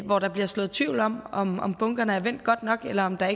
hvor der bliver sået tvivl om om om bunkerne er vendt godt nok eller om der